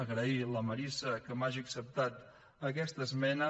agrair a la marisa que m’hagi acceptat aquesta esmena